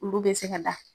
Olu bɛ se ka da